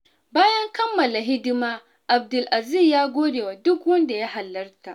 Bayan kammala hidima, Abdulaziz ya gode wa duk wanda ya halarta.